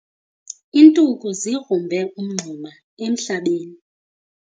Iintuku zigrumbe umngxuma emhlabeni.